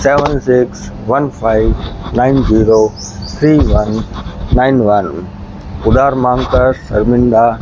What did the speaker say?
seven six one five nine zero three one nine one उधार मांग कर शर्मिंदा --